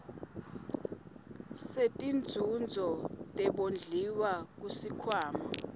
setinzuzo tebondliwa kusikhwama